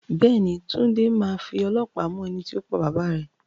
Bẹ́ẹ̀ ni, Túnde máa fi ọlọ́pàá mú ẹni tó pa bàbá rẹ